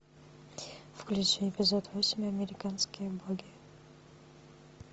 включи эпизод восемь американские боги